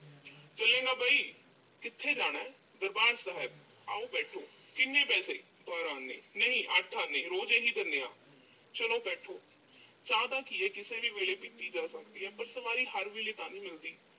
ਹਾਂ ਬਈ। ਕਿੱਥੇ ਜਾਣਾ। ਦਰਬਾਰ ਸਾਹਿਬ। ਆਓ ਬੈਠੋ। ਕਿੰਨੇ ਪੈਸੇ। ਆਨੇ। ਨਹੀਂ ਅੱਠ ਆਨੇ, ਰੋਜ਼੍ਹ ਇਹੀ ਦਿਨੇ ਆਂ। ਚਲੋ ਬੈਠੋ। ਚਾਹ ਦਾ ਕੀ ਐ। ਕਿਸੇ ਵੀ ਵੇਲੇ ਪੀਤੀ ਜਾ ਸਕਦੀ ਐ। ਪਰ ਸਵਾਰੀ ਹਰ ਵੇਲੇ ਤਾਂ ਨੀਂ ਮਿਲਦੀ।